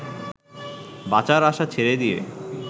বাঁচার আশা ছেড়ে দিয়ে